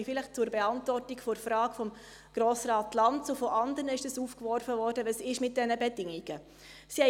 Jetzt komme ich zur Beantwortung der Frage von Grossrat Lanz und anderer, die wissen wollten, was es mit diesen Bedingungen auf sich hat.